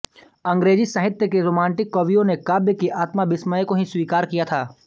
अंग्रेज़ी साहित्य के रोमांटिक कवियों ने काव्य की आत्मा विस्मय को ही स्वीकार किया था